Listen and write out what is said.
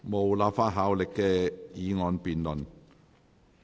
無立法效力的議案辯論。